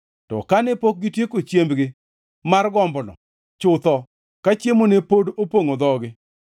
To kane pok gitieko chiembgi mar gombono, chutho, ka chiemo ne pod opongʼo dhogi,